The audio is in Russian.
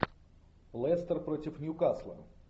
лестер против ньюкасла